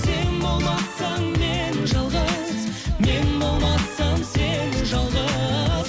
сен болмасаң мен жалғыз мен болмасам сен жалғыз